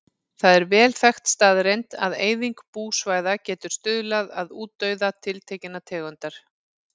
Það er vel þekkt staðreynd að eyðing búsvæða getur stuðlað að útdauða tiltekinnar tegundar.